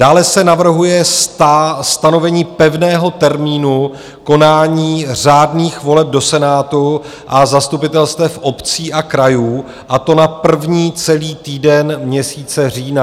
Dále se navrhuje stanovení pevného termínu konání řádných voleb do Senátu a zastupitelstev obcí a krajů, a to na první celý týden měsíce října.